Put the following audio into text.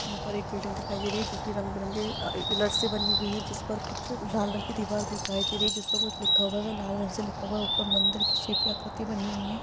यहाँ पर एक बिल्डिंग दिखाई दे रही हैं जो की रंग-बिरंगे अअ पिलर से बनी हुई है जिस पर कुछ लाल रंग की दीवार दिखाई दे रही हैं जिस पर कुछ लिखा हुआ है वह लाल रंग से लिखा हुआ है ऊपर मन्दिर के शेप की आकृति बनी हुई है ।